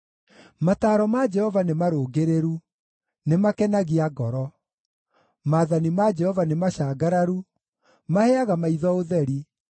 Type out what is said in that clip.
Mataaro ma Jehova nĩmarũngĩrĩru, nĩ makenagia ngoro. Maathani ma Jehova nĩ macangararu, maheaga maitho ũtheri.